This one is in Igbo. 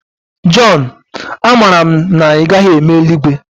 John, amara m na ị gaghị eme eluigwe